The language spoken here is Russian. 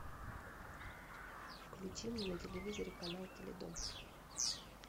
включи мне на телевизоре канал теледом